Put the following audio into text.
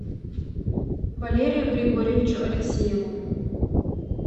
валерию григорьевичу алексееву